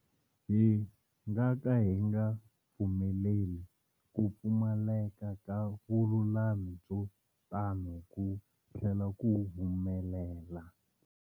Hi nga ka hi nga pfumeleli ku pfumaleka ka vululami byo tano ku tlhela ku humelela.